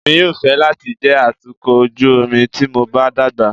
Èmi yóò fẹ́ láti jẹ́ atukọ̀ ojú omi tí mo bá dàgbà.